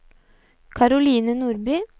Caroline Nordby